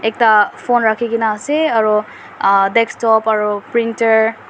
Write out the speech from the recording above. ekta phone rakikina asae aro ahh desktop aro printer .